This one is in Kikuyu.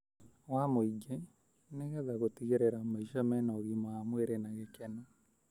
wa mũingĩ nĩ getha gũtigĩrĩra maica mena ũgima wa mwĩrĩ na gĩkeno.